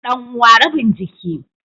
Dan uwa rabin jiki